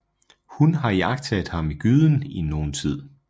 Hun har iagttaget ham i gyden i nogen tid